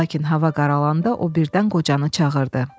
Lakin hava qaralanda o birdən qocanı çağırdı.